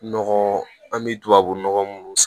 Nɔgɔ an bɛ tubabunɔgɔ munnu san